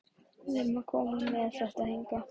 Við erum að koma með þetta hingað?